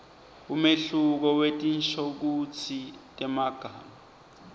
umehluko wetinshokutsi temagama